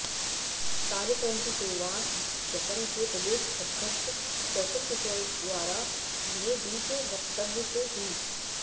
कार्यक्रम की शुरुआत जसम के प्रदेश अध्यक्ष कौशल किशोर द्वारा दिए बीज वक्तव्य से हुई